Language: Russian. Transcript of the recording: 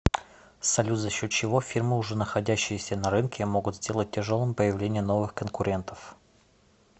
салют за счет чего фирмы уже находящиеся на рынке могут сделать тяжелым появление новых конкурентов